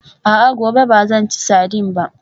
A'a, gobe ba zan ci sardine ba